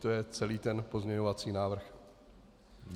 To je celý ten pozměňovací návrh.